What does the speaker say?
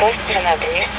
On beş saniyə?